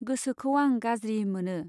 गोसोखौ आं गाज्रि मोनो।